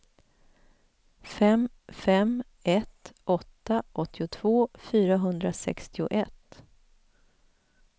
fem fem ett åtta åttiotvå fyrahundrasextioett